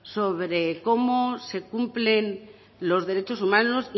sobre cómo se cumplen los derechos humanos